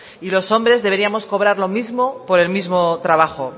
y los hombres deberíamos cobrar lo mismo por el mismo trabajo